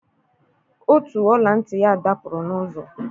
Otu ọla ntị ya dapụrụ n'ụzọ.